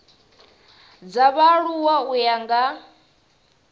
dza vhaaluwa u ya nga